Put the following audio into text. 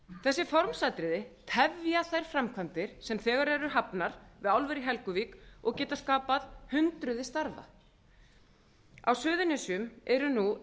þessi formsatriði tefja þær framkvæmdir sem þegar eru hafnar við álver í helguvík og geta skapað hundruð starfa á suðurnesjum eru nú